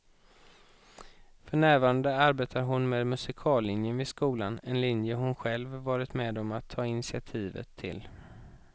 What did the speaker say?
För närvarande arbetar hon med musikallinjen vid skolan, en linje hon själv varit med om att ta initiativet till.